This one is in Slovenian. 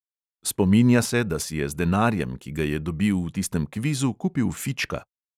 Spominja se, da si je z denarjem, ki ga je dobil v tistem kvizu, kupil fička.